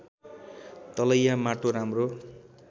तलैया माटो राम्रो